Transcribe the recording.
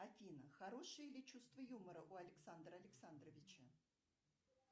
афина хорошее ли чувство юмора у александра александровича